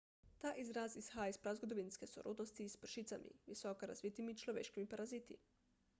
ta izraz izhaja iz prazgodovinske sorodnosti s pršicami visoko razvitimi človeškimi paraziti